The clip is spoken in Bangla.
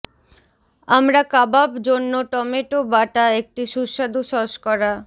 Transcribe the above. আমরা কাবাব জন্য টমেটো বাটা একটি সুস্বাদু সস করা